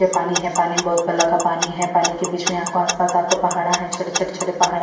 ये पानी है पानी में बहुत काला पानी है पानी के बिच में--